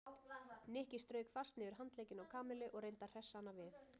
Nikki strauk fast niður handleggina á Kamillu og reyndi að hressa hana við.